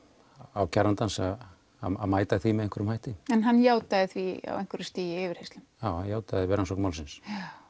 ákærandans að mæta því með einhverjum hætti en hann játaði því á einhverju stigi í yfirheyrslum já hann játaði það við rannsókn málsins